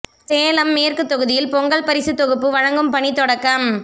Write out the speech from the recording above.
சேலம் மேற்கு தொகுதியில் பொங்கல் பரிசுத் தொகுப்பு வழங்கும் பணி தொடக்கம்